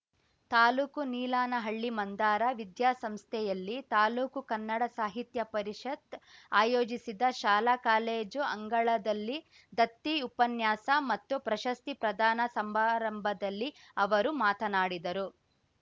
ತಾಲೂಕು ನೀಲಾನಹಳ್ಳಿ ಮಂದಾರ ವಿದ್ಯಾಸಂಸ್ಥೆಯಲ್ಲಿ ತಾಲೂಕು ಕನ್ನಡ ಸಾಹಿತ್ಯ ಪರಿಷತ್‌ ಆಯೋಜಿಸಿದ ಶಾಲಾ ಕಾಲೇಜು ಅಂಗಳದಲ್ಲಿ ದತ್ತಿ ಉಪನ್ಯಾಸ ಮತ್ತು ಪ್ರಶಸ್ತಿ ಪ್ರದಾನ ಸಂಬಾರಂಭದಲ್ಲಿ ಅವರು ಮಾತನಾಡಿದರು